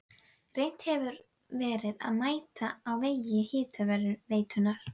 Þannig eru einnig hinar aðrar myndir margskonar táknræn hugsmíð.